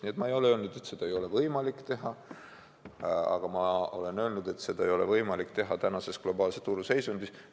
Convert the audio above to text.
Nii et ma ei ole öelnud, et seda ei ole võimalik teha, aga ma olen öelnud, et seda ei ole võimalik teha praeguses globaalse turu seisundis.